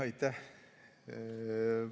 Aitäh!